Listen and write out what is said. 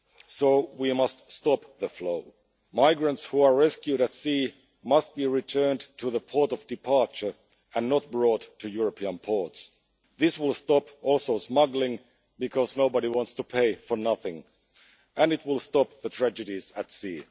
So, we must stop the flow. Migrants who are rescued at sea must be returned to the port of departure, and not brought to European ports. This will also stop smuggling, because nobody wants to pay for nothing, and it will stop the tragedies at sea.